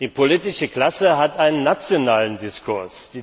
Die politische Klasse hat einen nationalen Diskurs.